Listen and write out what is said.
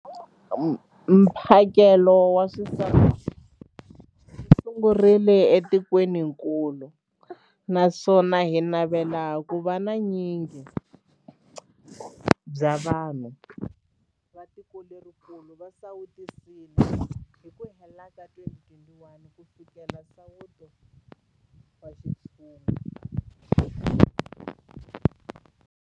Mphakelo wa xisawutisi wu sungurile etikwenikulu naswona hi navela ku va vu nyingi bya vanhu va tikokulu va sawutisiwile hi ku hela ka 2021 ku fikelela nsawuto wa xintshungu.